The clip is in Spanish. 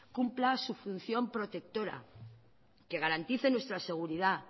cumpla su función protectora que garantice nuestra seguridad